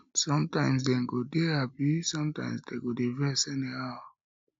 sometimes dem go dey hapi sometimes dem go dey vex anyhow